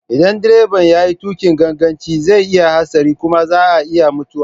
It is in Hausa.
Idan direba ya yi tuƙin ganganci zai yi hatsari kuma za a iya mutuwa.